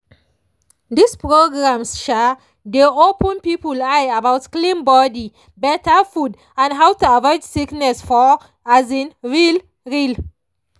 these programs um dey open people eye about clean body better food and how to avoid sickness for um real. real.